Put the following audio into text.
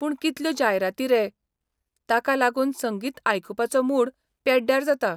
पूण कितल्यो जायराती रे, ताका लागून संगीतआयकुपाचो मूड पेड्ड्यार जाता